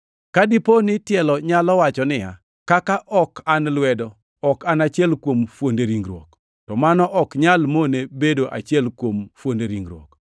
Ka dipo ni tielo nyalo wacho niya, “Kaka ok an lwedo, ok an achiel kuom fuonde ringruok,” to mano ok nyal mone bedo achiel kuom fuonde ringruok.